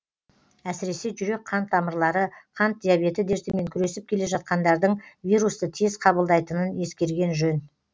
әсіресі жүрек қан тамырлары қант диабеті дертімен күресіп келе жатқандардың вирусты тез қабылдайтынын ескерген жөн